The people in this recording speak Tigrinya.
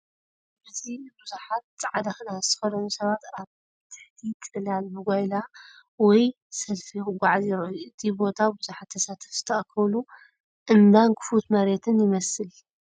ኣብዚ ብዙሓት ጻዕዳ ክዳን ዝተኸድኑ ሰባት ኣብ ትሕቲ ጽላል ብጓይላ ወይ ሰልፊ ክጓዓዙ ይረኣዩ። እቲ ቦታ ብዙሓት ተሳተፍቲ ዝተኣከቡሉ እምባን ክፉት መሬትን ይመስል።